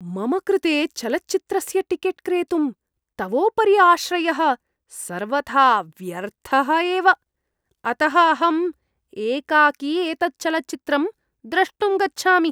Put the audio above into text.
मम कृते चलच्चित्रस्य टिकेट् क्रेतुं तवोपरि आश्रयः सर्वथा व्यर्थः एव, अतः अहम् एकाकी एतत् चलच्चित्रं द्रष्टुं गच्छामि।